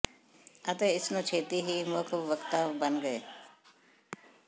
ਅਤੇ ਇਸ ਨੂੰ ਛੇਤੀ ਹੀ ਮੁੱਖ ਵਕਤਾ ਬਣ ਗਏ